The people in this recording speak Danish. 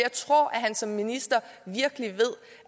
han som minister ved